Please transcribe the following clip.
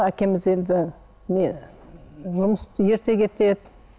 әкеміз енді не ерте кетеді